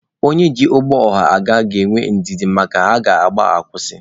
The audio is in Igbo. Onye ji ụgbọ ọha aga ga-enwe ndidi maka a gaa, a kwụsị.